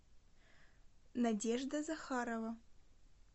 надежда захарова